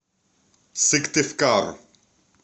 сыктывкар